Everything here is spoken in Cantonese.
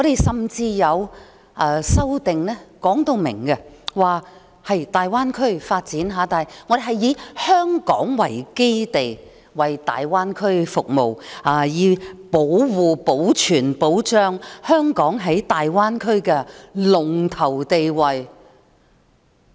甚至有修正案明確提出，以香港作為基地服務大灣區，以維持香港在大灣區的龍頭地位。